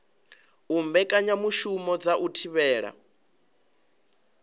u mbekanyamushumo dza u thivhela